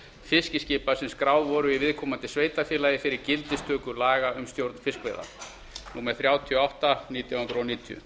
fiskiskipa sem skráð voru í viðkomandi sveitarfélagi fyrir gildistöku laga um stjórn fiskveiða númer þrjátíu og átta nítján hundruð níutíu